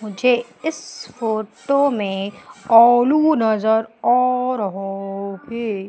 मुझे इस फोटो में आलू नजर आ रहा हैं।